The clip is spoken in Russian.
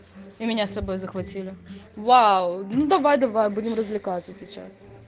и меня с собой захватили вау ну давай давай будем развлекаться сейчас